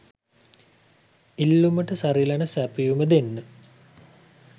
ඉල්ලුමට සරිලන සැපයුම දෙන්න